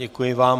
Děkuji vám.